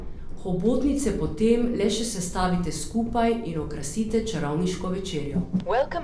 Hobotnice potem le še sestavite skupaj in okrasite čarovniško večerjo.